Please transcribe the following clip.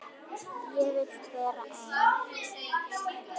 Vil vera ein.